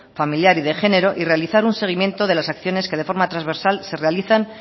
familiar y de género y realizar un seguimiento de las acciones que de forma trasversal se realizar